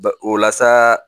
o la sa